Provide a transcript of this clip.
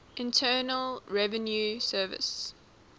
internal revenue service